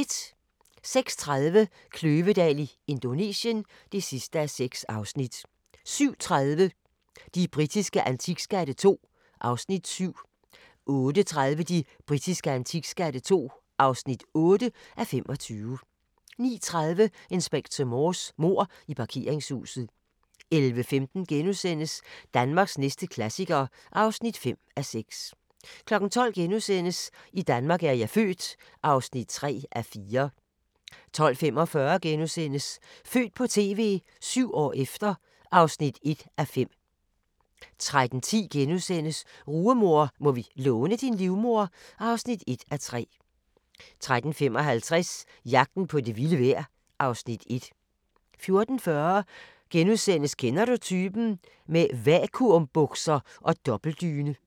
06:30: Kløvedal i Indonesien (6:6) 07:30: De britiske antikskatte II (7:25) 08:30: De britiske antikskatte II (8:25) 09:30: Inspector Morse: Mord i parkeringshuset 11:15: Danmarks næste klassiker (5:6)* 12:00: I Danmark er jeg født (3:4)* 12:45: Født på TV – 7 år efter (1:5)* 13:10: Rugemor – må vi låne din livmoder? (1:3)* 13:55: Jagten på det vilde vejr (Afs. 1) 14:40: Kender du typen? – med vakuumbukser og dobbeltdyne *